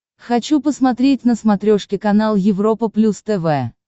хочу посмотреть на смотрешке канал европа плюс тв